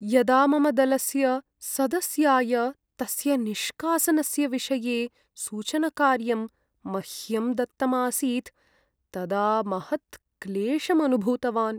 यदा मम दलस्य सदस्याय तस्य निष्कासनस्य विषये सूचनकार्यं मह्यं दत्तम् आसीत् तदा महत्क्लेशम् अनुभूतवान्।